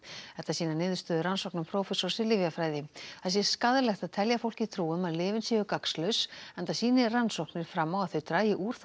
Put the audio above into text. þetta sýna niðurstöður rannsóknar sænsks prófessors í lyfjafræði það sé skaðlegt að telja fólki trú um að lyfin séu gagnslaus enda sýni rannsóknir fram á að þau dragi úr